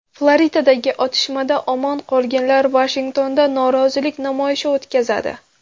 Floridadagi otishmada omon qolganlar Vashingtonda norozilik namoyishi o‘tkazadi.